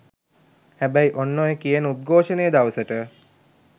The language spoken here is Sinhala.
හැබැයි ඔන්න ඔය කියන උද්ඝෝෂණය දවසට